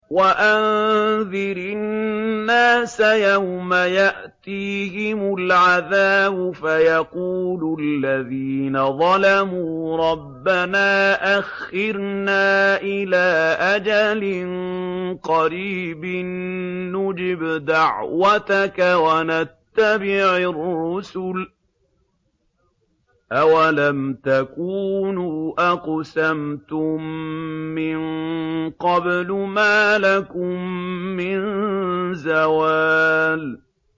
وَأَنذِرِ النَّاسَ يَوْمَ يَأْتِيهِمُ الْعَذَابُ فَيَقُولُ الَّذِينَ ظَلَمُوا رَبَّنَا أَخِّرْنَا إِلَىٰ أَجَلٍ قَرِيبٍ نُّجِبْ دَعْوَتَكَ وَنَتَّبِعِ الرُّسُلَ ۗ أَوَلَمْ تَكُونُوا أَقْسَمْتُم مِّن قَبْلُ مَا لَكُم مِّن زَوَالٍ